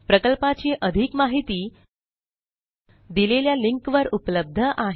प्रकल्पाची अधिक माहिती दिलेल्या लिंकवर उपलब्ध आहे